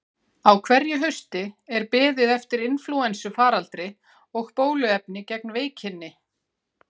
Á hverju hausti er beðið eftir inflúensufaraldri og bóluefni gegn veikinni.